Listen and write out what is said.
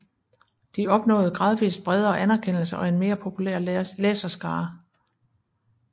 De opnåede gradvist bredere anerkendelse og en mere populær læserskare